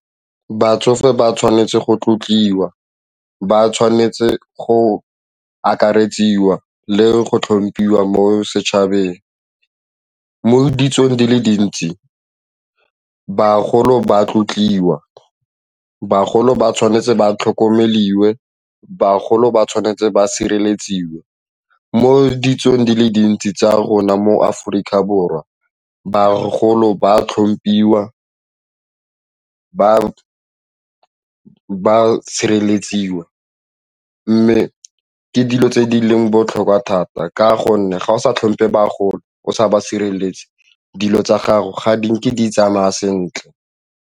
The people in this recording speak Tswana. Batsofe ba tshwanetse go tlotliwa, ba tshwanetse go akaretsiwa le go tlhomphiwa mo setšhabeng. Mo ditsong di le dintsi, bagolo ba tlotliwa bagolo ba tshwanetse ba tlhokomele dingwe, bagolo ba tshwanetse ba sireletsiwe mo ditsong di le dintsi tsa rona. Mo Aforika Borwa, bagolo ba a tlhomphiwa, ba sireletsiwa mme ke dilo tse di leng botlhokwa thata ka gonne ga o sa tlhomphe bagolo, o sa ba sireletse dilo tsa gago ga di nke di tsamaya sentle.